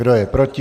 Kdo je proti?